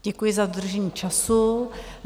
Děkuji za dodržení času.